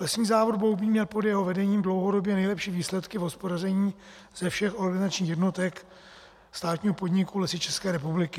Lesní závod Boubín měl pod jeho vedením dlouhodobě nejlepší výsledky v hospodaření ze všech organizačních jednotek státního podniku Lesy České republiky.